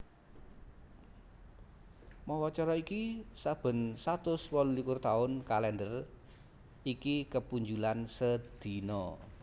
Mawa cara iki saben satus wolu likur taun kalèndher iki kepunjulan sedina